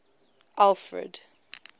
alfred